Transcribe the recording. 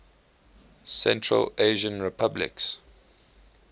central asian republics